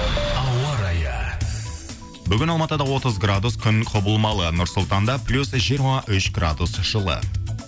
ауа райы бүгін алматыда отыз градус күн құбылмалы нұр сұлтанда плюс жиырма үш градус жылы